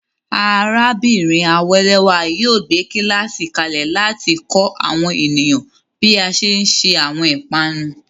Arábìnrin Awelewa yóò gbé kíláàsì kalẹ̀ láti kọ́ àwọn ènìyàn bí a ṣe ń se àwọn ìpanu.